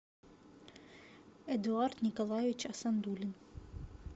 эдуард николаевич асандулин